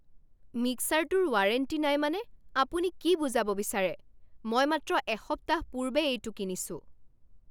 মিক্সাৰটোৰ warranty নাই মানে আপুনি কি বুজাব বিচাৰে? মই মাত্ৰ এসপ্তাহ পূৰ্বে এইটো কিনিছো!